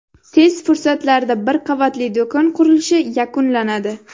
Tez fursatlarda bir qavatli do‘kon qurilishi yakunlanadi.